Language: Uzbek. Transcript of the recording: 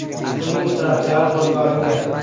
Uning ishtirokchilari qo‘lga olingan.